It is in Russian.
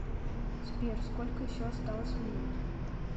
сбер сколько еще осталось минут